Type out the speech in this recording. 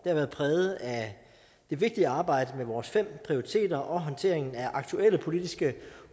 har været præget af det vigtige arbejde med vores fem prioriteter og håndteringen af aktuelle politiske